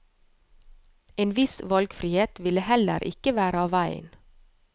En viss valgfrihet ville heller ikke være av veien.